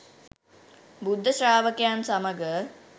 බුද්ධ ශ්‍රාවකයන් සමඟ